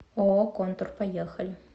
ооо контур поехали